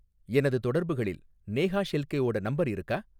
எனது தொடர்புகளில் நேஹா ஷெல்கேவோட நம்பர் இருக்கா?